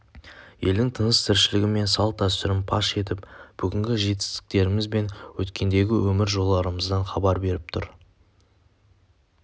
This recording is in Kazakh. елдің тыныс-тіршілігі мен салт-дәстүрін паш етіп бүгінгі жетістіктеріміз бен өткендегі өмір жолдарымыздан хабар беріп тұр